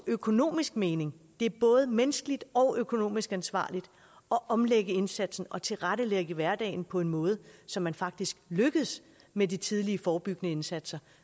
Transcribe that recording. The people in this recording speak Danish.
økonomisk mening det er både menneskeligt og økonomisk ansvarligt at omlægge indsatsen og tilrettelægge hverdagen på en måde så man faktisk lykkes med de tidlige forebyggende indsatser